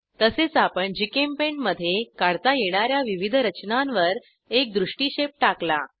तसेच आपण जीचेम्पेंट मधे काढता येणा या विविध रचनांवर एक दृष्टिक्षेप टाकला